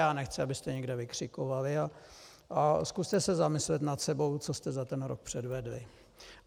Já nechci, abyste někde vykřikovali, ale zkuste se zamyslet nad sebou, co jste za ten rok předvedli.